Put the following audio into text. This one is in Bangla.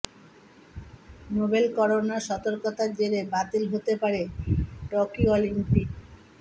নোভেল করোনা সতর্কতার জেরে বাতিল হতে পারে টোকিও অলিম্পিক